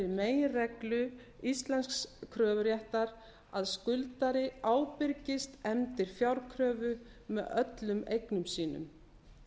meginreglu íslensks kröfuréttar að skuldari ábyrgist efndir fjárkröfu með öllum eignum sínum